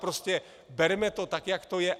Prostě berme to tak, jak to je.